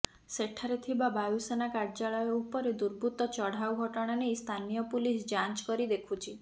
ସେଠାରେ ଥିବା ବାୟୁସେନା କାର୍ଯ୍ୟାଳୟ ଉପରେ ଦୁର୍ବୃତ୍ତ ଚଢ଼ାଉ ଘଟଣା ନେଇ ସ୍ଥାନୀୟ ପୁଲିସ ଯାଞ୍ଚ କରି ଦେଖୁଛି